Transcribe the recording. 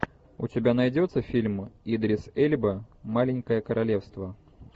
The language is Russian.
у тебя найдется фильм идрис эльба маленькое королевство